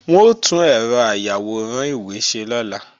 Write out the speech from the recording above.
Wọ́n ó tún ẹ̀rọ ayàwòrán ìwé ṣe lọ́la